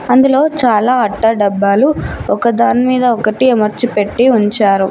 అందులో చాలా అట్ట డభలు ఒక దాని మీద ఒకటి అమర్చి పెట్టి ఉంచారు.